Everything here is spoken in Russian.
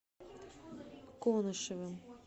конышевым